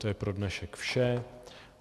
To je pro dnešek vše.